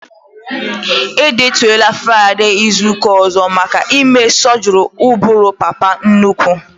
E detuola Fraịdee izuka ọzọ maka ime sọgri ụbụrụ papa nnukwu